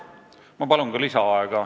Ma palun ka lisaaega!